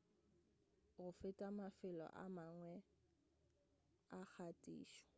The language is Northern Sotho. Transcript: — go feta mafelo a mangwe a kgathišo